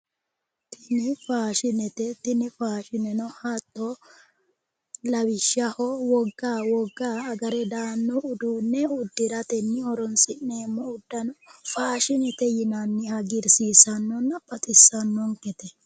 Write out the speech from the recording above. Tini faashinete tini aashine lawishshaho wogga wogga agare daanno uduunne uddiratenni horonsi'neemmo uddano faashinete yinanni hagiirsiisannonna baxissannonkete